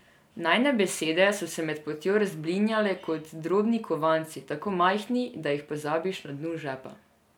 Najine besede so se med potjo razblinjale kot drobni kovanci, tako majhni, da jih pozabiš na dnu žepa.